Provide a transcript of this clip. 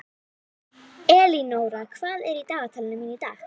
Elínóra, hvað er í dagatalinu mínu í dag?